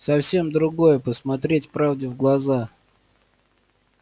совсем другое посмотреть правде в глаза